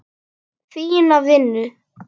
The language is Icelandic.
Fína vinnu.